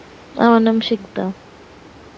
আমার নাম সিকতা